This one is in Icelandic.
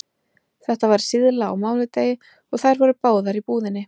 Þetta var síðla á mánudegi og þær voru báðar í búðinni.